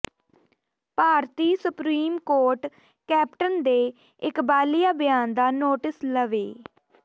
ਭਾਰਤੀ supreme court captain ਦੇ ਇਕਬਾਲੀਆ ਬਿਆਨ ਦਾ ਨੋਟਿਸ ਲਵੇ